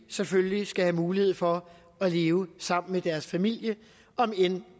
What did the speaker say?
selvfølgelig skal have mulighed for at leve sammen med deres familie om end